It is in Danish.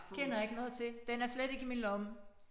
Kender ikke noget til den er slet ikke i min lomme